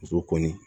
Muso kɔni